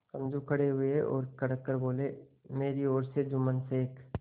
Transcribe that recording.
समझू खड़े हुए और कड़क कर बोलेमेरी ओर से जुम्मन शेख